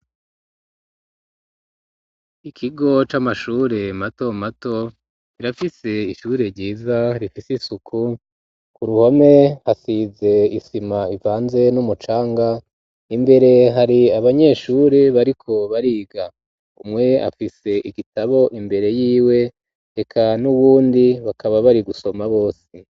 Ikigo c'amashure mato mato rirafise ishure ryiza rifise isuku, ku ruhome hasize isima ivanze n'umucanga, imbere hari abanyeshuri bariko bariga umwe afise igitabo imbere yiwe reka n'uwundi bakaba bari gusoma bose.